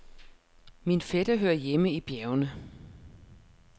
Min fætter hører hjemme i bjergene.